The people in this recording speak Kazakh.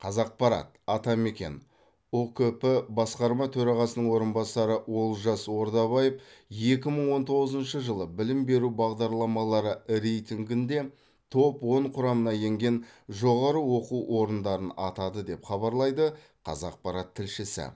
қазақпарат атамекен ұкп басқарма төрағасының орынбасары олжас ордабаев екі мың он тоғызыншы жылы білім беру бағдарламалары рейтингінде топ он құрамына енген жоғары оқу орындарын атады деп хабарлайды қазақпарат тілшісі